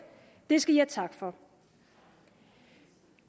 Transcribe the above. det skal i have tak for